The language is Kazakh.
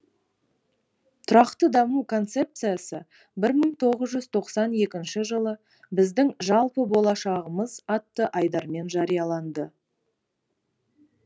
тұрақты даму концепциясы бір мың тоғыз жүз тоқсан екінші жылы біздің жалпы болашағымыз атты айдармен жарияланды